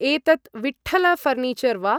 एतत् विठ्ठल ऴर्निचर् वा ?